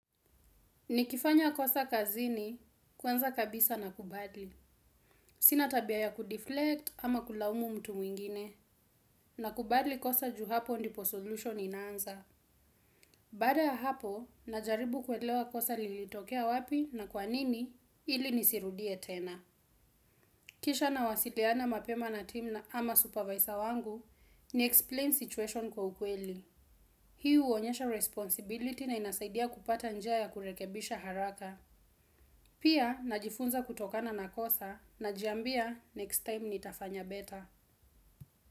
Nikifanya kosa kazini kwanza kabisa nakubali. Sina tabia ya kudiflect ama kulaumu mtu mwingine nakubali kosa ju hapo ndipo solution inaanza. Baada ya hapo najaribu kuelewa kosa lilitokea wapi na kwa nini ili nisirudie tena. Kisha nawasiliana mapema na timu ama supervisor wangu niexplain situation kwa ukweli. Hii huonyesha responsibility na inasaidia kupata njia ya kurekebisha haraka. Pia, najifunza kutokana na kosa najiambia next time nitafanya better.